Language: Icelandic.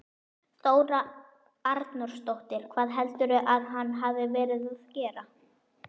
Þóra Arnórsdóttir: Hvað heldurðu að hann hafi verið að gera?